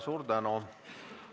Suur tänu!